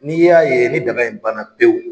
N'i y'a ye ni dɛmɛ in bana pewu.